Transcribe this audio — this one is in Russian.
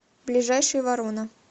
ближайший ворона